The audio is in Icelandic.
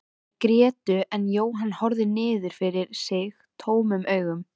Þær grétu en Jóhann horfði niður fyrir sig tómum augum.